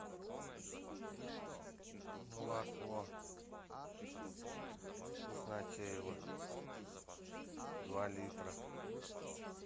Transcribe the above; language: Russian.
молоко вкуснотеево два литра